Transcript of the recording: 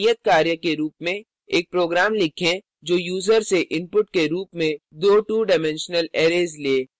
नियतकार्य के रूप में एक program लिखें जो यूजर से input के रूप में दो 2डाइमेंशनल arrays ले